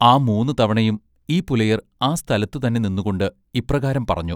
ആ മൂന്നു തവണയും ഈ പുലയർ ആ സ്ഥലത്തു തന്നെ നിന്നുകൊണ്ട് ഇപ്രകാരം പറഞ്ഞു.